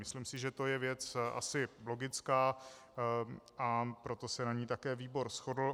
Myslím si, že to je věc asi logická, a proto se na ní také výbor shodl.